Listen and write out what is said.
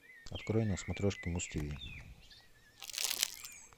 открой на смотрешке муз тв